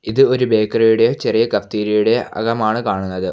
ഇത് ഒരു ബേക്കറി യുടെയോ ചെറിയൊരു കഫ്റ്റീരിയ യുടെയോ അകമാണ് കാണുന്നത്.